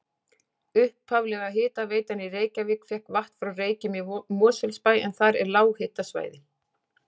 Upphaflega hitaveitan í Reykjavík fékk vatn frá Reykjum í Mosfellsbæ en þar er lághitasvæði.